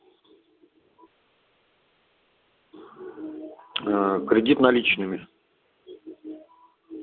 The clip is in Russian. кредит наличными